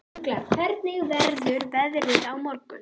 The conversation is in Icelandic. Ugla, hvernig verður veðrið á morgun?